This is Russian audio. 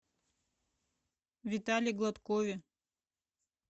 витале гладкове